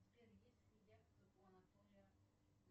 сбер есть ли яхта у анатолия